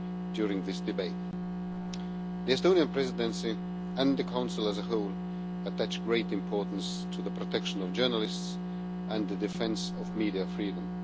during this debate. The Estonian Presidency, and the Council as a whole, attach great importance to the protection of journalists and the defence of media freedom.